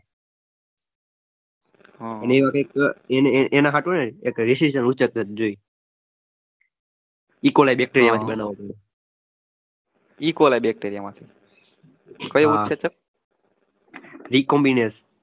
અને એમાં કઈક એના હાટું હે ને